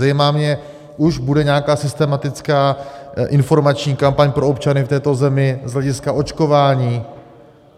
Zajímá mě: už bude nějaká systematická informační kampaň pro občany v této zemi z hlediska očkování?